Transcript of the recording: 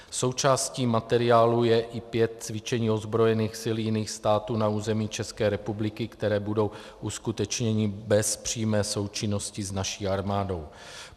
Součástí materiálu je i pět cvičení ozbrojených sil jiných států na území České republiky, která budou uskutečněna bez přímé součinnosti s naší armádou.